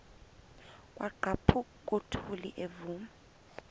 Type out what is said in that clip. kwaqhaphuk uthuli evuma